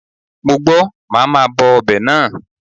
Mo gbọ́, màá ma bọ ọbẹ̀ náà.